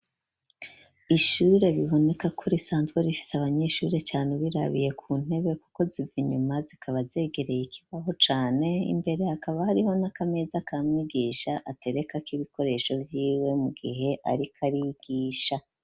Ishure biboneka ko risanzwe rifise abanyeshure cane, ubirabiye ku ntebe kuko zivinyuma zikaba zegereye ikibaho cane, imbere hakaba hariho n'akameza ka mwigisha aterekako ibikoresho vyiwe mu gihe arikarigisha.